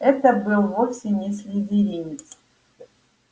это был вовсе не слизеринец